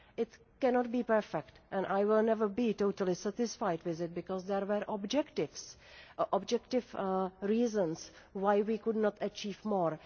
It cannot be perfect and I will never be totally satisfied with it, because there were objective reasons why we could not achieve more.